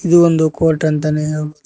ಇದು ಒಂದು ಕೋರ್ಟ್ ಅಂತಾನೆ ಹೇಳ್ಬೋದು.